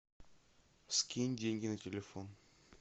скинь деньги на телефон